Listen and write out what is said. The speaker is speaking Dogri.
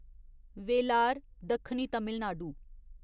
वेलार दक्खनी तमिलनाडु